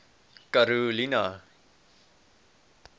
karolina